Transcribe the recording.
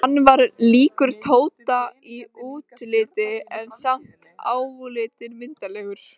Hann var líkur Tóta í útliti, en samt álitinn myndarlegur.